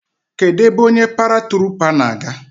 Kedụ ebe onye paratruupa na-aga?